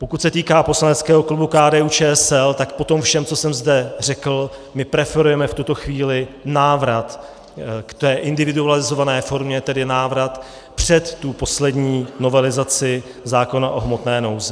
Pokud se týká poslaneckého klubu KDU-ČSL, tak po tom všem, co jsem zde řekl, my preferujeme v tuto chvíli návrat k té individualizované formě, tedy návrat před tu poslední novelizaci zákona o hmotné nouzi.